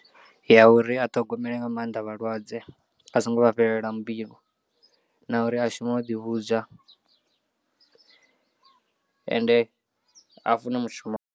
Ya uri a ṱhogomele nga maanḓa vhalwadze a songo vha fhelela mbilu na uri a shume o ḓi vhudza ende a fune mushumo.